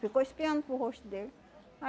Ficou espiando para o rosto dele.